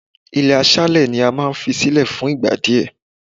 Ilé aṣálẹ̀ ni a máa ń fi sílẹ̀ fún ìgbà díẹ̀.